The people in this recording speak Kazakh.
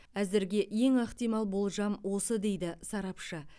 әзірге ең ықтимал болжам осы дейді сарапшы